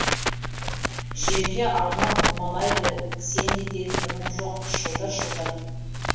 жерге аунап домалайды кісенде де тыным жоқ шылдыр шылдыр